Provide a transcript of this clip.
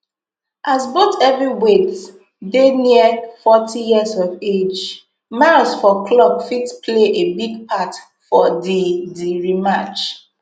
as both heavyweights dey near forty years of age miles for clock fit play a big part for di di rematch